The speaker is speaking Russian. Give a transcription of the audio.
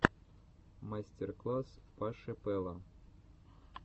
мастер класс паши пэла